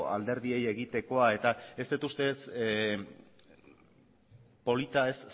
alderdiei egitekoa eta ez dut uste ez polita ez